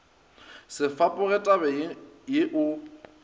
se fapoge tabeng ye o